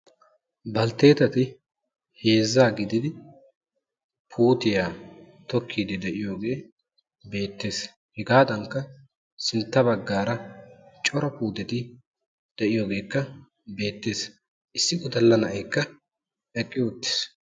Baltteetati heezzaa gididi puutiya tokkiiddi diyogee beettes. Hegaadankka sintta baggaara cora puuteti de'iyogeekka beettes. Issi wodalla na'aykka eqqi uttis.